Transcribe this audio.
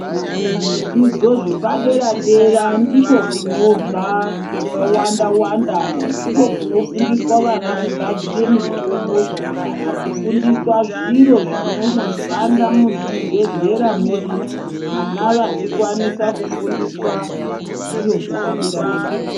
Kuzvidzidzidzo zvepadera dera ndiko kunobva zvakawanda wanda, ndiko kunofundiswa vana kugadzira mitombo kana kufundiswa zviro zvinonoshanda muzvibhedhlera medu, vana vachikwanisa kufundiswa zviro zvepadera dera.